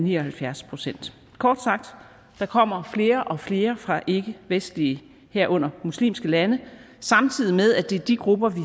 ni og halvfjerds procent kort sagt der kommer flere og flere fra ikkevestlige herunder muslimske lande samtidig med at det er de grupper vi